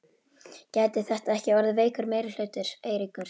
Gæti þetta ekki orðið veikur meirihluti, Eiríkur?